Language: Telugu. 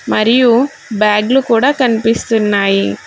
మరియు బ్యాగులు కూడా కనిపిస్తున్నాయి.